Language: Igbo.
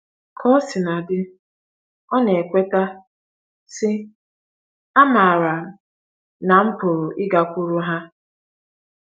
Ka o sina dị, ọ na - ekweta, sị: “ Amaara m na m pụrụ ịgakwuru ha. ”